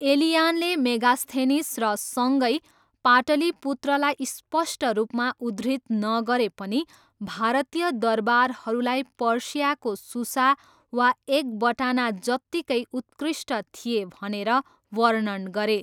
एलियानले Megasthenes र सँगै पाटलिपुत्रलाई स्पष्ट रूपमा उद्धृत नगरे पनि, भारतीय दरबारहरूलाई पर्सियाको सुसा वा एकबटाना जत्तिकै उत्कृष्ट थिए भनेर वर्णन गरे।